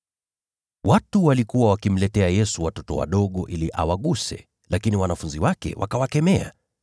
Watu walikuwa wakimletea Yesu watoto wadogo ili awaguse, lakini wanafunzi wake wakawakemea.